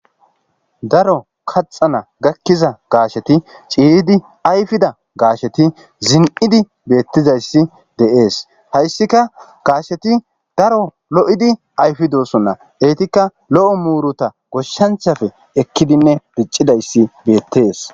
Daro kaathana gakiza gasheti ciiyidi ayfida gasheti zin'idi betizays de'es haysika gasheti daro lo'idi ayfidosona ,Etika lo'o muruta goshanchati ekidinne dicidaysi betes.